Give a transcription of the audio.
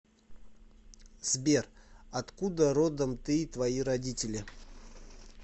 сбер откуда родом ты и твои родители